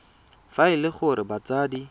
fa e le gore batsadi